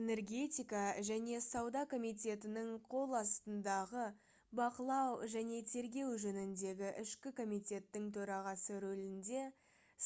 энергетика және сауда комитетінің қол астындағы бақылау және тергеу жөніндегі ішкі комитеттің төрағасы рөлінде